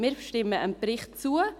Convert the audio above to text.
Wir stimmen dem Bericht zu.